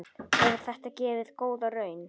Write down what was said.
Hefur þetta gefið góða raun?